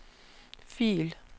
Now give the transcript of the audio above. fil